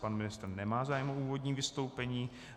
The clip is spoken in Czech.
Pan ministr nemá zájem o úvodní vystoupení.